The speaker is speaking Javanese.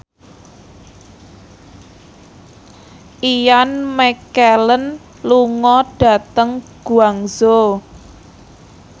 Ian McKellen lunga dhateng Guangzhou